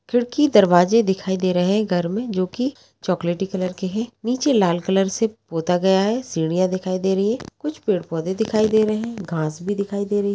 खिड़की दरवाजे दिखाई दे रहे हैं घर में जो कि चॉकलेटी कलर के है नीचे लाल कलर से पोता गया है सीढ़ियां दिखाई दे रही है कुछ पेड़-पौधे दिखाई दे रहे हैं घास भी दिखाई दे रही है।